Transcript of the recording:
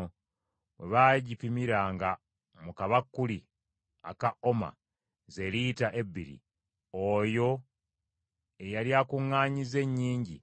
Bwe baagipimiranga mu kabakuli aka oma, ze lita ebbiri, oyo eyali akuŋŋaanyizza ennyingi